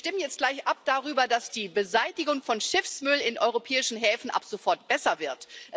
Wir stimmen jetzt gleich darüber ab, dass die Beseitigung von Schiffsmüll in europäischen Häfen ab sofort besser wird.